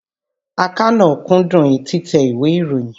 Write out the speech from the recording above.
Àkànó kúndùn títẹ ìwé ìròyìn.